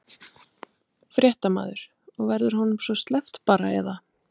Fréttamaður: Og verður honum svo sleppt bara eða?